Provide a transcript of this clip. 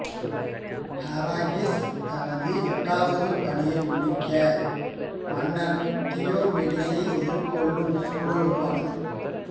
Heracles தனது எட்டாவது பணியை முடிக்க மன்னர் தியோமெடிஸை எதிர்கொள்ளும் சூழல் உருவானது